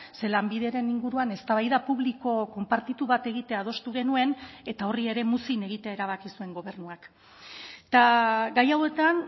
ze lanbideren inguruan eztabaida publiko konpartitu bat egitea adostu genuen eta horri ere muzin egitea erabaki zuen gobernuak eta gai hauetan